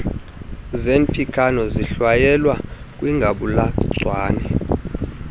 zernpixano zihlwayelwa kwingabulagcawu